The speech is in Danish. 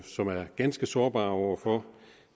som er ganske sårbare over for